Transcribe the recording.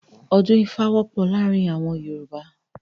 Odun Ifa wọpọ amon awọn Yoruba